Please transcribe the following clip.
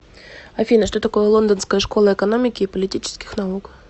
афина что такое лондонская школа экономики и политических наук